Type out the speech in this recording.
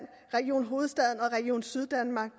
region hovedstaden og region syddanmark